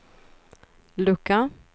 lucka